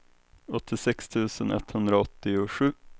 åttiosex tusen etthundraåttiosju